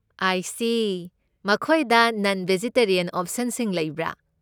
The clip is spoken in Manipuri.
ꯑꯥꯏ ꯁꯤ, ꯃꯈꯣꯏꯗ ꯅꯟ ꯕꯦꯖꯤꯇꯔꯤꯌꯟ ꯑꯣꯞꯁꯟꯁꯤꯡ ꯂꯩꯕ꯭ꯔꯥ?